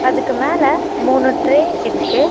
இதுக்கு மேல மூணு ட்ரே இருக்கு.